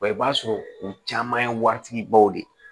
Wa i b'a sɔrɔ u caman ye waritigi baw de ye